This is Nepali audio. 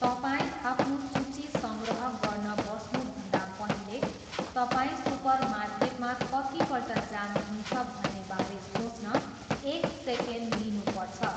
तपाईँ आफ्नो सूची सङ्ग्रह गर्न बस्नुभन्दा पहिले, तपाईँ सुपरमार्केटमा कतिपल्ट जानुहुन्छ भन्नेबारे सोच्न एक सेकेन्ड लिनु पर्छ।